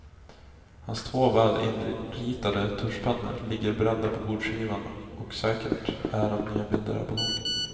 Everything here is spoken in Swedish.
Hans två väl inritade tuschpennor ligger beredda på bordskivan och säkert är att nya bilder är på gång.